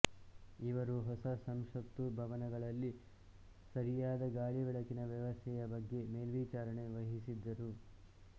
ಇವರು ಹೊಸ ಸಂಸತ್ತು ಭವನಗಳಲ್ಲಿ ಸರಿಯಾದ ಗಾಳಿ ಬೆಳಕಿನ ವ್ಯವಸ್ಥೆಯ ಬಗ್ಗೆ ಮೇಲ್ವಿಚಾರಣೆ ವಹಿಸಿದ್ದರು